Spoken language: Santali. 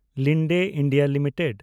Linde India limited